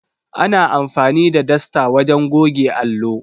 Ana amfani da dasta wajen goge allo.